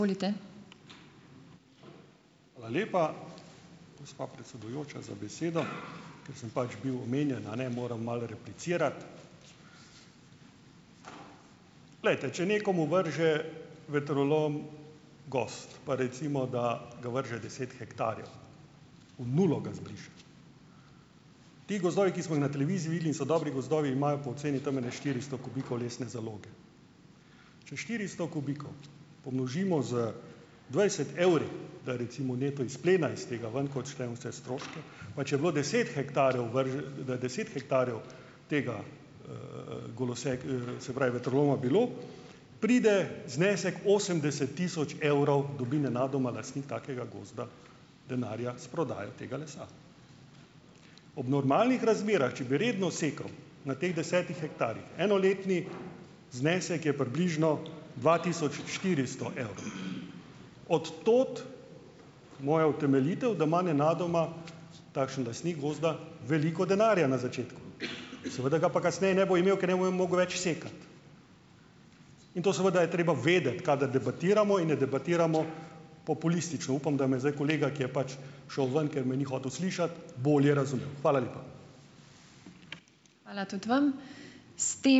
Hvala lepa, gospa predsedujoča, za besedo. Ker sem pač bil omenjen, a ne, moram malo replicirati. Glejte, če nekomu vrže vetrolom gozd, pa recimo, da ga vrže deset hektarjev, v nulo ga zbriše. Ti gozdovi, ki smo jih na televiziji videli in so dobri gozdovi, imajo po oceni tam ene štiristo kubikov lesne zaloge. Če štiristo kubikov pomnožimo z dvajset evri, recimo, neto izplena iz tega ven, ko odštejemo vse stroške, pa če je bilo deset hektarjev deset hektarjev tega, se pravi, vetroloma bilo, pride znesek osemdeset tisoč evrov, dobi nenadoma lastnik takega gozda denarja s prodajo tega lesa. Ob normalnih razmerah, če bi redno sekal na teh desetih hektarjih, enoletni znesek je približno dva tisoč štiristo evrov. Od tod moja utemeljitev, da ima nenadoma takšen lastnik gozda veliko denarja na začetku, seveda ga pa kasneje ne bo imel, ker ne bo mogel več sekati. In to seveda je treba vedeti, kadar debatiramo, in ne debatiramo populistično. Upam, da me zdaj kolega, ki je pač šel ven, ker me ni hotel slišati, bolje razumel. Hvala lepa.